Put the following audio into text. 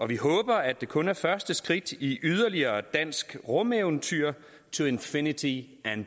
vi håber at det kun er første skridt i yderligere et dansk rumeventyr to infinity and